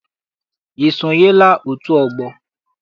I sonyela otu ọgbọ?